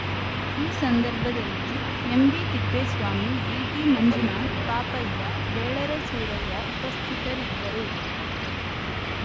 ಈ ಸಂದರ್ಭದಲ್ಲಿ ಎಂಬಿತಿಪ್ಪೇಸ್ವಾಮಿ ಡಿಟಿಮಂಜುನಾಥ್‌ ಪಾಪಯ್ಯ ಬೇಲರ ಸೂರಯ್ಯ ಉಪಸ್ಥಿತರಿದ್ದರು